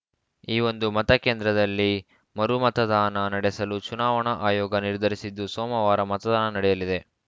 ಈ ಒಂದು ಮತಕೇಂದ್ರದಲ್ಲಿ ಮರು ಮತದಾನ ನಡೆಸಲು ಚುನಾವಣಾ ಆಯೋಗ ನಿರ್ಧರಿಸಿದ್ದು ಸೋಮವಾರ ಮತದಾನ ನಡೆಯಲಿದೆ